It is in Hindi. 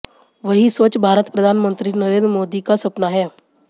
वहीं स्वच्छ भारत प्रधानमंत्री नरेन्द्र मोदी का सपना है